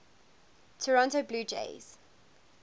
toronto blue jays